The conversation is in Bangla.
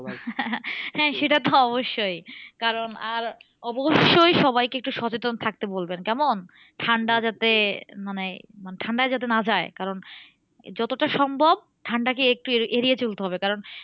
হ্যাঁ সেটা তো অবশ্যই। কারণ আর অবশ্যই সবাইকে একটু সচেতন থাকতে বলবেন কেমন? ঠান্ডা যাতে মানে ঠান্ডায় যাতে না যায়। কারণ যতটা সম্ভব ঠান্ডাকে একটু এড়িয়ে চলতে হবে। কারণ